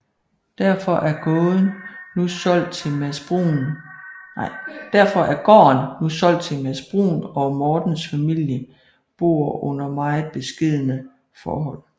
Derfor er gården nu solgt til Mads Bruun og Mortens familie bor under meget beskedne forhold